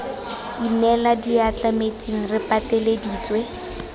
inela diatla metsing re pateleditswe